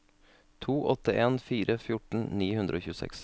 to åtte en fire fjorten ni hundre og tjueseks